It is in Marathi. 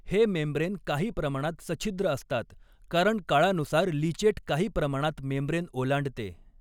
हे मेम्ब्रेन काही प्रमाणात सछिद्र असतात कारण काळानुसार लीचेट काही प्रमाणात मेम्ब्रेन ओलांडते.